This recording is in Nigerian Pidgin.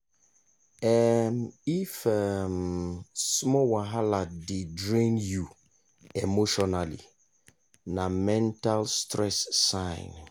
um if um small wahala dey drain you emotionally na mental stress sign.